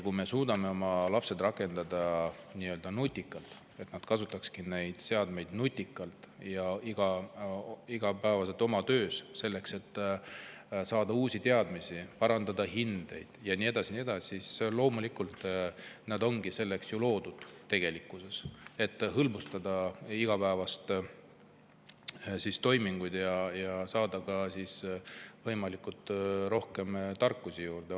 Kui me suudame oma lapsed panna neid seadmeid kasutama nutikalt, et nad saaksid igapäevaselt uusi teadmisi, parandada hindeid ja nii edasi ja nii edasi, siis loomulikult, selleks need ongi ju tegelikkuses loodud, just selleks, et hõlbustada igapäevaseid toiminguid ja saada võimalikult palju tarkusi juurde.